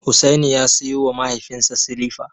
Hussaini ya siyowa mahaifinsa silifa.